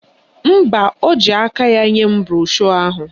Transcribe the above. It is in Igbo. Mba, o ji aka ya nye m broshu ahụ.